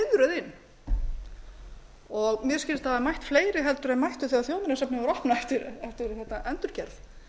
biðröð inn mér skilst a hafi mætt fleiri heldur en mættu þegar þjóðminjasafnið var opnað eftir endurgerð